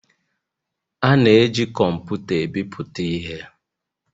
A na-eji kọmpụta ebipụta ihe